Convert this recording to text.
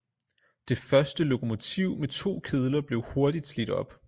Det første lokomotiv med to kedler blev hurtigt slidt op